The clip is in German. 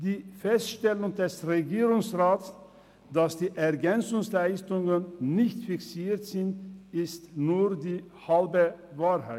Die Feststellung des Regierungsrats, wonach die EL nicht fixiert sind, ist nur die halbe Wahrheit.